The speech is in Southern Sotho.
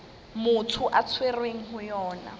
motho a tshwerweng ho yona